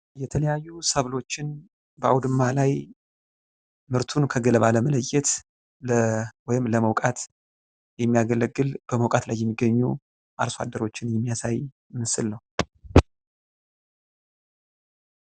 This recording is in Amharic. የተለያዩ ሰብሎችን በአውድማ ላይ ምርቱን ከገለባ ለመለየት ወይም ለምውቃት የሚያገለግል ፤ በመውቃት ላይ የሚገኙ አርሶአደሮችን የሚያሳይ ምስል ነው።